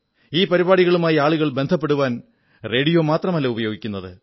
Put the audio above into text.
ഈ പരിപാടികളുമായി ആളുകൾ ബന്ധപ്പെടുവാൻ റേഡിയോ മാത്രമല്ല ഉപയോഗിക്കുന്നത്